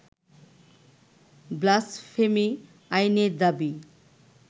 blasphemy আইনের দাবী